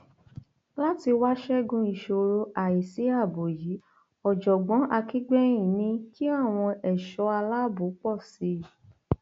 láti wáá ṣẹgun ìṣòro àì sí ààbò yìí ọjọgbọn akigbẹhin ní kí àwọn ẹṣọ aláàbò pọ sí i